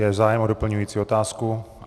Je zájem o doplňující otázku?